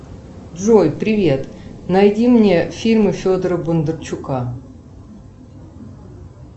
джой привет найди мне фильмы федора бондарчука